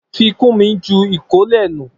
Fikunmi ju ìkólẹ̀ nù